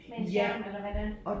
Med en skærm eller hvordan